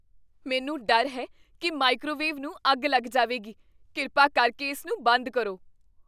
ਮੈਨੂੰ ਡਰ ਹੈ ਕੀ ਮਾਈਕ੍ਰੋਵੇਵ ਨੂੰ ਅੱਗ ਲੱਗ ਜਾਵੇਗੀ। ਕਿਰਪਾ ਕਰਕੇ ਇਸ ਨੂੰ ਬੰਦ ਕਰੋ।